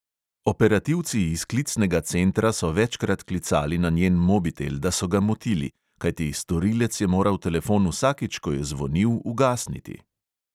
Operativci iz klicnega centra so večkrat klicali na njen mobitel, da so ga motili, kajti storilec je moral telefon vsakič, ko je zvonil, ugasniti.